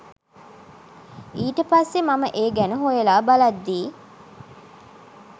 ඊට පස්සෙ මම ඒ ගැන හොයලා බලද්දි